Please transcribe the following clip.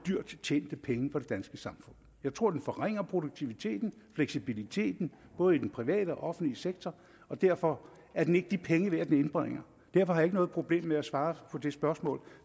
dyrt tjente penge for det danske samfund jeg tror at den forringer produktiviteten og fleksibiliteten både i den private og den offentlige sektor og derfor er den ikke de penge værd den indbringer derfor har jeg ikke noget problem med at svare på det spørgsmål